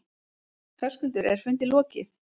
Höskuldur, er fundi lokið?